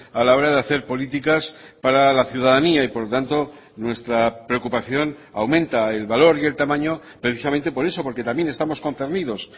a la hora de hacer políticas para la ciudadanía y por lo tanto nuestra preocupación aumenta el valor y el tamaño precisamente por eso porque también estamos concernidos